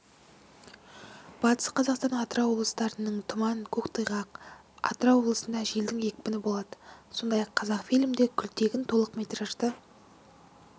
батыс қазақстан атырау облыстарынының тұман көктайғақ атырау облысында желдің екпіні болады сондай-ақ қазақфильмде күлтегін толық метражды